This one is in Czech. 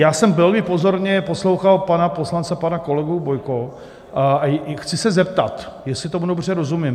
Já jsem velmi pozorně poslouchal pana poslance, pana kolegu Bojka, a chci ze zeptat, jestli tomu dobře rozumím.